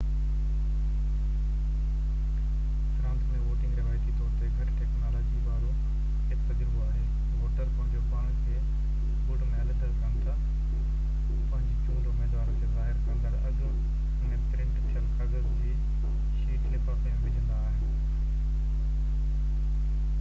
France ۾ voting روايتي طور تي گهٽ ٽيڪنالاجيءَ وارو هڪ تجربو آهي ووٽر پنهنجو پاڻ کي بوٽ ۾ علحده ڪن ٿا پنهنجي چونڊ اميدوار کي ظاهر ڪندڙ اڳ ۾ پرنٽ ٿيل ڪاغذ جي شيٽ لفافي ۾ وجهندا آهن